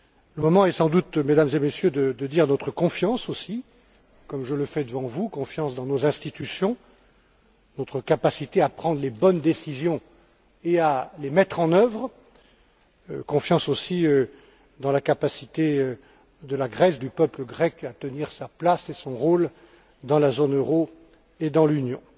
Le moment est sans doute venu, Mesdames et Messieurs, de dire notre confiance aussi, comme je le fais devant vous, dans nos institutions et dans notre capacité à prendre les bonnes décisions et à les mettre en œuvre, notre confiance aussi dans la capacité de la Grèce et du peuple grec à tenir sa place et son rôle dans la zone euro et dans l'Union.